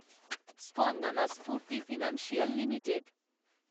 Spandana Sphoorty financial limited